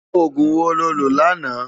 Ógún wó ló lö làná?